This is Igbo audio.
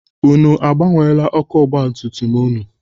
Unu agbanweela ọkụ ọgbatumtum ụnụ?